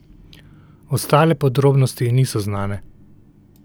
Ostale podrobnosti niso znane.